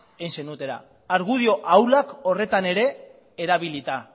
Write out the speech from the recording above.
egin zenutela argudio ahulak horretan ere erabilita